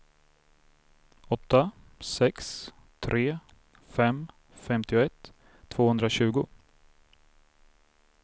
åtta sex tre fem femtioett tvåhundratjugo